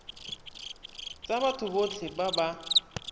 tsa batho botlhe ba ba